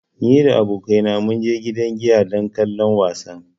Ni da abokaina mun je gidan giya don kallon wasan.